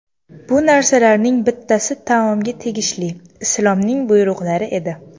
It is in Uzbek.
Bu narsalarning bittasi taomga tegishli Islomning buyruqlari edi.